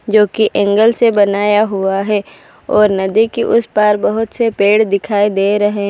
जो की एंगल से बनाया हुआ है और नदी के उस पर बहोत से पेड़ दिखाई दे रहे --